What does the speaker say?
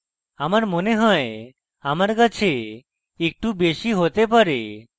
আমার মনে হয় আমার কাছে একটু বেশী হতে পারে